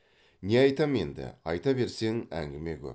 не айтамын енді айта берсең әңгіме көп